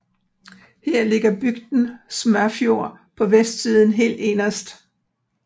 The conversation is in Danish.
Her ligger bygden Smørfjord på vestsiden helt inderst